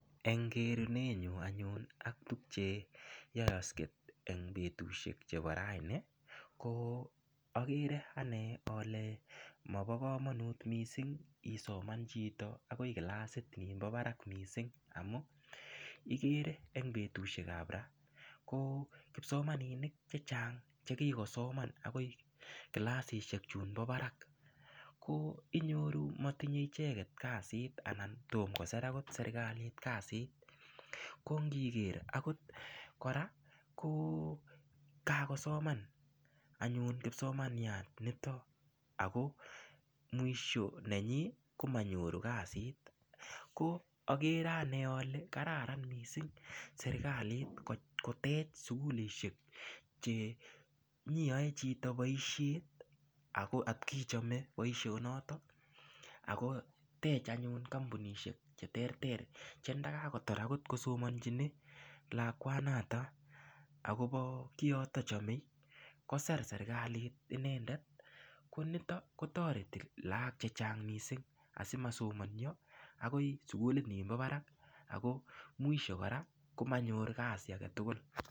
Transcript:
En kereunenyun anyun ak tuk cheyokse en betusiek chebo raini akere ane ole mo bo kamanut isoman chito akoi kilasit nibo barak amun ikere kipsomaninik chechang' chekikosoman akoi kilasisiek chumbo barak ko inyoru motinye icheket kasit anan tom kosir serkalit kasit ko ngiker akot kora ko kakosoman kipsomaniat nito ako mwisho nenyin komonyoru kasit ,akere ane ole kararan missing serkalit kotech sukulisiek ole inyoiyoe chito boisiet akochome boisionotok akotech anyun kampuniesiek cheterter chekakotar lakwanotok akobo kioto chome kosir serkalit inendet ako toreti nitok lagok chechang' missing asimasoman ako kilasisiek ab barak ako mwisho kora komanyor kasi aketugul.